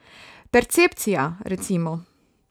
Percepcija, recimo.